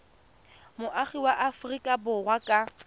moagi wa aforika borwa ka